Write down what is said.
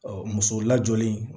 musow lajɔlen